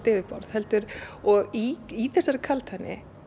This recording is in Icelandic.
yfirborð og í þessari kaldhæðni